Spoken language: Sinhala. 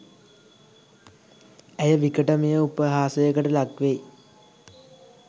ඇය විකටමය උපහාසයකට ලක්වෙයි